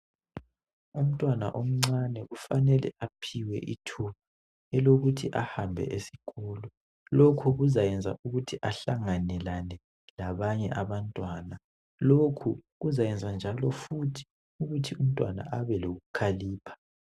Umntwana omncane kufanele aphiwe ithuba elokuthi ahambe esikolo. Lokhu kuzayenza ukuthi ahlangenale labanye abantwana. Lokhu futhi kuzayenza ukuthi umntwana abe lokukhalipha.